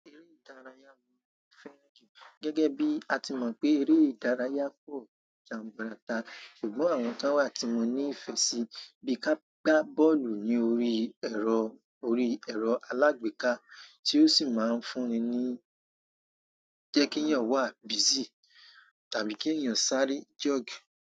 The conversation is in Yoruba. Eré ìdárayá wà fẹ́ jù. Gẹ́gẹ́ bí a ti mọ̀ pé eré ìdárayá kò jaburata ṣùgbọ́n àwọn tó wà tí mo ní ìfẹ́ sí bíi ká gbá bọ́ọ̀lù ní orí ẹ̀rọ, orí ẹ̀rọ alágbèéká tí ó sì máa ń fún ni ní jẹ́ kí èèyàn wà busy tàbí kí èèyàn sáré jog.